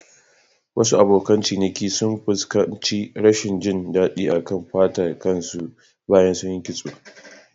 Wasu abokan ciniki sun fuskanci rashin jin daɗi a kan fatar kan su bayan sunyi kitso.